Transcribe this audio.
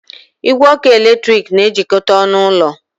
Igwe ọkụ eletrik na-ejikọta ọnụ ụlọ